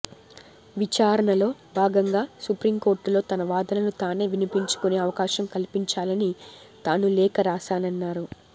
విచారణలో భాగంగా సుప్రీంకోర్టులో తన వాదనలు తానే వినిపించుకునే అవకాశం కల్పించాలని తాను లేఖ రాశానన్నారు